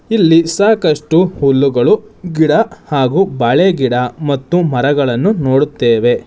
ಇಲ್ಲಿ ಸಾಕಷ್ಟು ಹುಲ್ಲುಗಳು ಗಿಡ ಹಾಗು ಬಾಳೆಗಿಡ ಮತ್ತು ಮರಗಳನ್ನು ನೋಡುತ್ತೇವೆ.